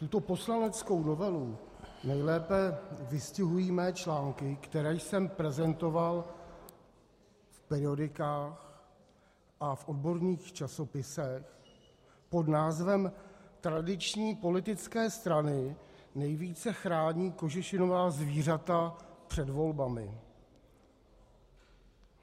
Tuto poslaneckou novelu nejlépe vystihují mé články, které jsem prezentoval v periodikách a v odborných časopisech pod názvem Tradiční politické strany nejvíce chrání kožešinová zvířata před volbami.